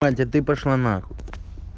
мать а ты пошла нахуй